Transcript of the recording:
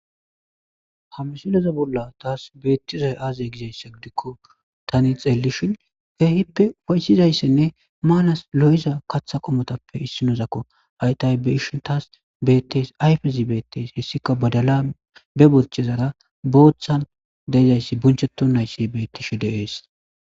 ha misileza bolla taas beettizay aazey gizayssa gidikko tani xeellishin keehippe ufaysizayssenne maanas lo7iza kaththa qomotappe issinozakko haytay beishin taas bettes ayfezi beettes hissikka badala be bolchezara booththan deezayssi buncheto nayssi bettishe deees